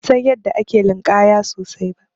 Ban san yadda ake linƙaya ba sosai.